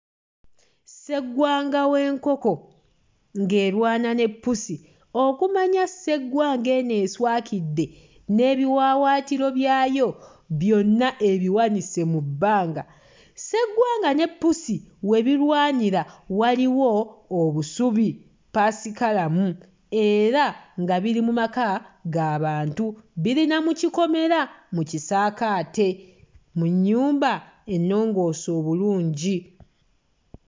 Sseggwanga w'enkoko ng'erwana ne ppusi. Okumanya sseggwanga eno eswakidde, n'ebiwawaatiro byayo byonna ebiwanise mu bbanga. Sseggwanga ne ppusi we birwanira waliwo obusubi ppaasikalamu era nga biri mu maka ga bantu, biri na mu kikomera mu kisaakaate mu nnyumba ennongoose obulungi.